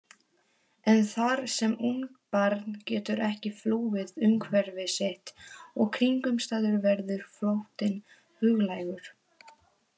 En þar sem ungt barn getur ekki flúið umhverfi sitt og kringumstæður verður flóttinn huglægur.